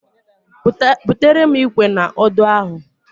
Butere m Ikwe na Odo ahu